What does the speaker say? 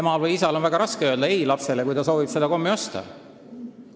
Emal ja isal on väga raske öelda lapsele ei, kui see soovib seda kommi saada.